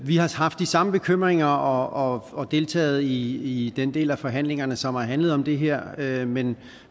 haft de samme bekymringer og og deltaget i den del af forhandlingerne som har handlet om det her her men